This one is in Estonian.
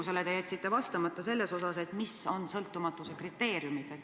Ja te jätsite vastamata minu eelmisele küsimusele, mis on sõltumatuse kriteeriumid.